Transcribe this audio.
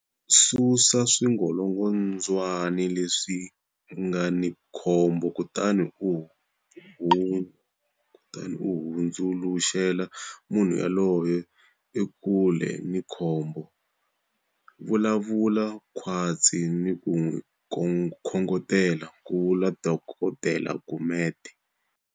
Susa swingolongondzwana leswi nga ni khombo kutani u hundzuluxela munhu yoloye ekule ni khombo. Vulavula khwatsi ni ku n'wi khongotela, ku vula Dok Gumede.